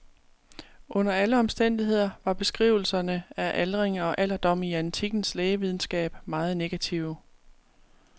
Under alle omstændigheder var beskrivelserne af aldring og alderdom i antikkens lægevidenskab meget negative.